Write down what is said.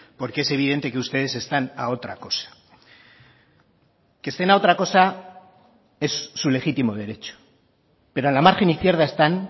porque es evidente que ustedes están a otra cosa que estén a otra cosa es su legítimo derecho pero en la margen izquierda están